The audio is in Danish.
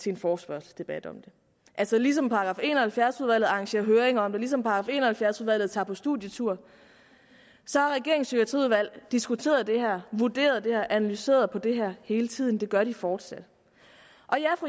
til en forespørgselsdebat om det altså ligesom § en og halvfjerds udvalget arrangerer høringer om det ligesom § en og halvfjerds udvalget tager på studietur har regeringens psykiatriudvalg diskuteret det her vurderet det her analyseret det her hele tiden og det gør de fortsat